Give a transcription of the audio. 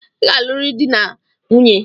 I ga-aluriri dị na nwunye!